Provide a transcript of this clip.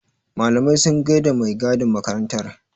Malamai sun gaida da mai gadin makarantar.